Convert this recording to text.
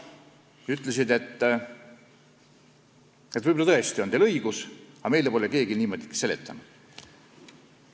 Nad ütlesid: "Võib-olla tõesti on teil õigus, aga meile pole keegi niimoodi seletanud.